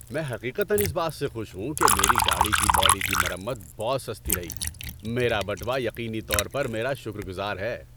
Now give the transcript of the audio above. میں حقیقتاً اس بات سے خوش ہوں کہ میری گاڑی کی باڈی کی مرمت بہت سستی رہی؛ میرا بٹوا یقینی طور پر میرا شکرگزار ہے!